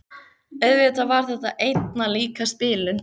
Auðvitað var þetta einna líkast bilun.